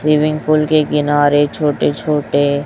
swimming pool के किनारे छोटे- छोटे --